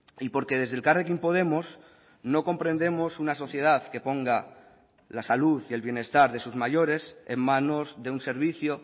y porque desde elkarrekin podemos no comprendemos una sociedad que ponga la salud y el bienestar de sus mayores en manos de un servicio